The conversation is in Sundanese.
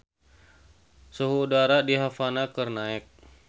Suhu udara di Havana keur naek